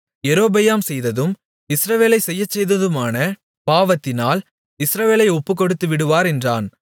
யெரொபெயாம் செய்ததும் இஸ்ரவேலைச் செய்யச்செய்ததுமான பாவத்தினால் இஸ்ரவேலை ஒப்புக்கொடுத்துவிடுவார் என்றான்